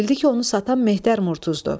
Bildi ki, onu satan Mehter Murtuzdur.